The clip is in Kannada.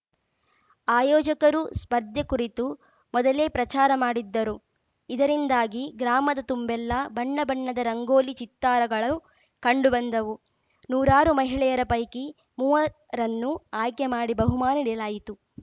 ಆಯೋಜಕರು ಸ್ಪರ್ಧೆ ಕುರಿತು ಮೊದಲೇ ಪ್ರಚಾರ ಮಾಡಿದ್ದರು ಇದರಿಂದಾಗಿ ಗ್ರಾಮದ ತುಂಬೆಲ್ಲಾ ಬಣ್ಣ ಬಣ್ಣದ ರಂಗೋಲಿ ಚಿತ್ತಾರಗಳು ಕಂಡು ಬಂದವು ನೂರಾರು ಮಹಿಳೆಯರ ಪೈಕಿ ಮೂವರನ್ನು ಆಯ್ಕೆ ಮಾಡಿ ಬಹುಮಾನ ನೀಡಲಾಯಿತು